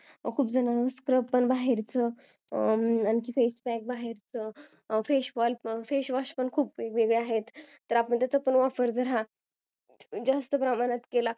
खूप जण scrub पण बाहेरच आणखी facepack पण बाहेरच्या face wash पण बाहेरचा खूप वेगवेगळ्या आहेत आपण त्याचा वापर जर जास्त प्रमाणात केला